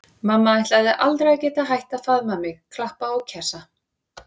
Mamma ætlaði aldrei að geta hætt að faðma mig, klappa og kjassa.